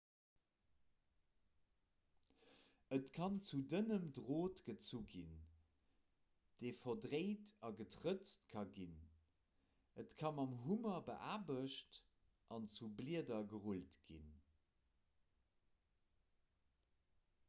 et kann zu dënnem drot gezu ginn dee verdréint a getrëtzt ka ginn et ka mam hummer beaarbecht an zu blieder gerullt ginn